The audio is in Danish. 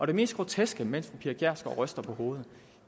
det mest groteske mens pia kjærsgaard ryster på hovedet